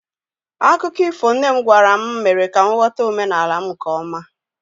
akụkọ ifo nne m gwara m mere ka m ghọta omenala m nke ọma